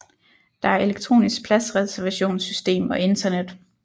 Der er elektronisk pladsreservationssystem og internet